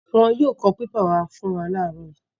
Wọn yóò kó pépà wá fún wa láàárọ̀ yìí.